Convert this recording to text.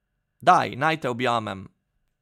Daj, naj te objamem.